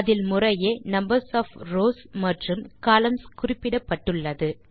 அதில் முறையே numbers of rows மற்றும் கொலம்ன்ஸ் குறிப்பிட்டுள்ளது